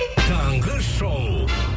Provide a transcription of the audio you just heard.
таңғы шоу